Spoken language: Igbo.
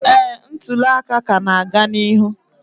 ee, ntuli aka ka na-aga n'ihu